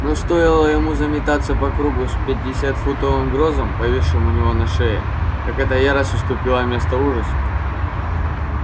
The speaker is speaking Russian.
но стоило ему заметаться по кругу с пятидесятифунтовым грузом повисшим у него на шее как эта ярость уступила место ужасу